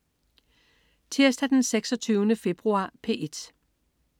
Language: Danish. Tirsdag den 26. februar - P1: